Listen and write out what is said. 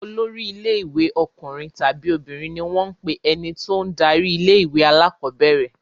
Olórí ilé-ìwé ọkùnrin tàbí obìnrin ni ó wọ́n ń pe ẹni tó ń darí ilé-ìwé alákọ̀ọ́bẹ̀rẹ̀.